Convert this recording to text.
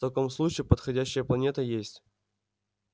в таком случае подходящая планета есть